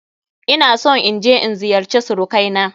Ina son in je in ziyarce surukai na.